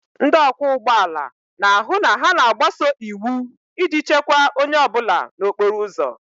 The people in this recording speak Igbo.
Ndị ọkwọ ụgbọ ala na-ahụ na ha na-agbaso iwu iji chekwaa onye ọ bụla n'okporo ụzọ